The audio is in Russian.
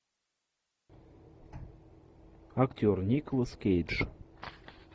актер николас кейдж